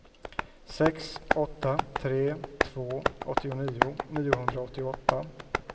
sex åtta tre två åttionio niohundraåttioåtta